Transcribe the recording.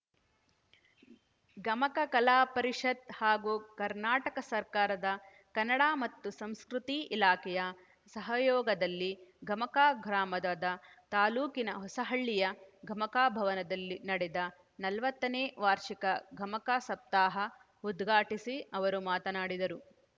ಗಮಕ ಕಲಾ ಪರಿಷತ್‌ ಹಾಗೂ ಕರ್ನಾಟಕ ಸರ್ಕಾರದ ಕನ್ನಡ ಮತ್ತು ಸಂಸ್ಕತಿ ಇಲಾಖೆಯ ಸಹಯೋಗದಲ್ಲಿ ಗಮಕ ಗ್ರಾಮದಾದ ತಾಲೂಕಿನ ಹೊಸಹಳ್ಳಿಯ ಗಮಕ ಭವನದಲ್ಲಿ ನಡೆದ ನಲವತ್ತನೇ ವಾರ್ಷಿಕ ಗಮಕ ಸಪ್ತಾಹ ಉದ್ಘಾಟಿಸಿ ಅವರು ಮಾತನಾಡಿದರು